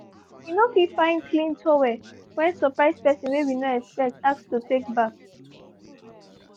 we no fit find clean towel when surprise person wey we no expect ask to take bath